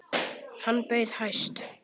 Hann bauð hæst.